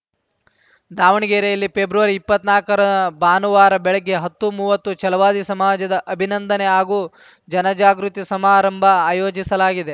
ದಾವಣಗೆರೆಯಲ್ಲಿ ಪೆಬ್ರವರಿ ಇಪ್ಪತ್ನಾಲ್ಕರ ಭಾನುವಾರ ಬೆಳಗ್ಗೆ ಹತ್ತು ಮೂವತ್ತು ಛಲವಾದಿ ಸಮಾಜದ ಅಭಿನಂದನೆ ಹಾಗೂ ಜನಜಾಗೃತಿ ಸಮಾರಂಭ ಆಯೋಜಿಸಲಾಗಿದೆ